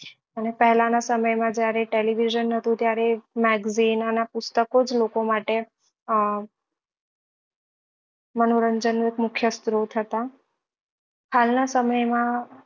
અને પહેલા નાં સમય માં જ્યારે television નતું ત્યારે magazine અને આ પુસ્તકો જ લોકો માટે અ મનોરંજન નું એક મુખ્ય સ્ત્રોત હતા હાલ નાં સમય માં